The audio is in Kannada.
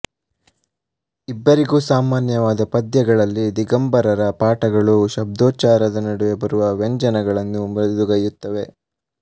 ಇಬ್ಬರಿಗೂ ಸಾಮಾನ್ಯವಾದ ಪದ್ಯಗಳಲ್ಲಿ ದಿಗಂಬರರ ಪಾಠಗಳು ಶಬ್ದೋಚ್ಚಾರದ ನಡುವೆ ಬರುವ ವ್ಯಂಜನಗಳನ್ನು ಮೃದುಗೈಯುತ್ತವೆ